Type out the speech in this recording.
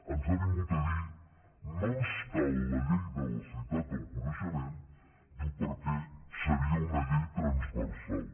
ens ha vingut a dir no ens cal la llei de la societat del coneixement diu perquè seria una llei transversal